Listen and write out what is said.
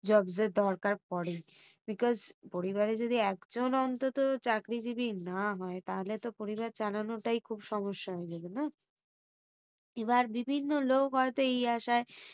Jobs এর দরকার পরে because পরিবারে যদি একজন অন্তত চাকরিজীবী না হয় তাহলে তো পরিবার চালানোটাই খুব সমস্যা হয়ে যাবে না? এবার বিভিন্ন লোক এই আশায়